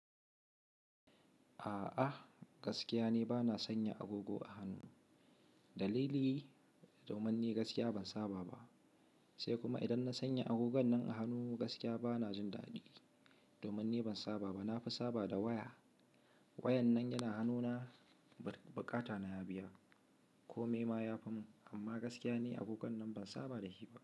A'a gaskiya ni bana sanya agogo a hannu. Dalili domin ni gaskiya ban saba ba, sai kuma idan na sanya agogon nan a hannu gaskiya bana jin daɗi domin ni ban saba ba. Na fi saba da waya. Wayan nan yana hannuna buƙata na ya biya ko me ma ya fi mun amma gaskiya ni agogon nan ban saba da shi ba.